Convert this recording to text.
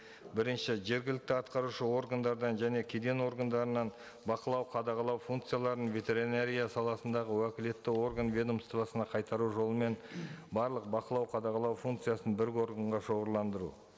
бірінші жергілікті атқарушы органдардан және кеден органдарынан бақылау қадағалау функцияларын ветеринария саласындағы уәкілетті орган ведомствосына қайтару жолымен барлық бақылау қадағалау функциясын бір органға шоғырландыру